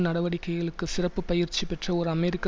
நடவடிக்கைகளுக்குப் சிறப்பு பயிற்சி பெற்ற ஓர் அமெரிக்க